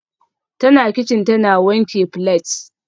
Tana kicin tana wanke plates